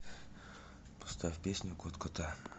поставь песню кот кота